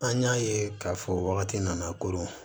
An y'a ye k'a fɔ wagati nana konon